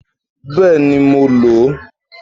Bẹ́ẹ̀ni, mo lò ó